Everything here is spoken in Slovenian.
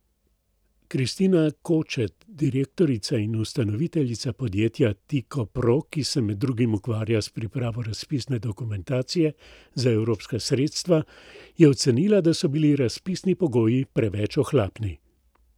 Kristina Kočet, direktorica in ustanoviteljica podjetja Tiko pro, ki se med drugim ukvarja s pripravo razpisne dokumentacije za evropska sredstva, je ocenila, da so bili razpisni pogoji preveč ohlapni.